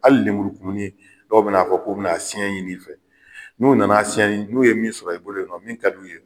Hali lemurukumuni dɔw bɛ na fɔ k'o bɛ na siɲɛ ɲini i fɛ, n'u nana siɲɛ n'u ye min sɔrɔ i bolo min ka d'u ye.